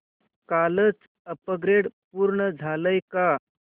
कालचं अपग्रेड पूर्ण झालंय का